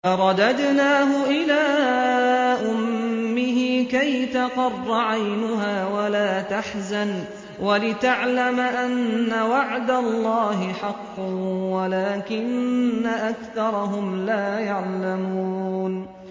فَرَدَدْنَاهُ إِلَىٰ أُمِّهِ كَيْ تَقَرَّ عَيْنُهَا وَلَا تَحْزَنَ وَلِتَعْلَمَ أَنَّ وَعْدَ اللَّهِ حَقٌّ وَلَٰكِنَّ أَكْثَرَهُمْ لَا يَعْلَمُونَ